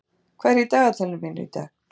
Gói, hvað er í dagatalinu mínu í dag?